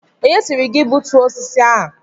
Onye sịrị gị gbutuo osisi a?